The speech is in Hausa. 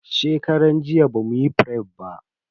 Shekaran jiya bamuyi fref ba.